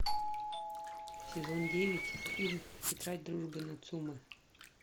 сезон девять фильм тетрадь дружбы нацумэ